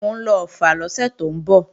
Mò ń lọ Ọ̀ffà lọ́sẹ̀ tó ń bọ̀